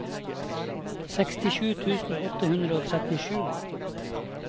sekstisju tusen åtte hundre og trettisju